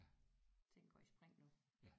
Ting går i spring nu